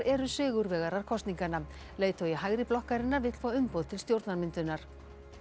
eru sigurvegarar kosninganna leiðtogi hægri blokkarinnar vill fá umboð til stjórnarmyndunar